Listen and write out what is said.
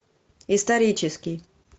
исторический